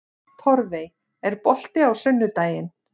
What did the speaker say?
Torfey, er bolti á sunnudaginn?